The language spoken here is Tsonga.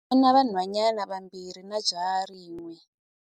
U na vanhwanyana vambirhi na jaha rin'we.